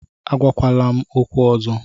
Agwakwala m okwu ọzọ